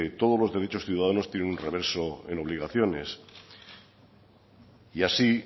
todos los derechos ciudadanos tienen un reverso en obligaciones y así